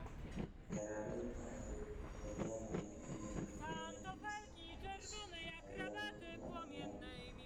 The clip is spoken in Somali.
Beeralayda ayaa ku dadaalaya inay yareeyaan isticmaalka sunta cayayaanka iyo cayayaanka.